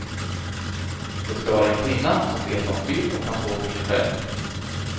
Det ska vara en kvinna som vet vad hon vill och kan stå för sig själv.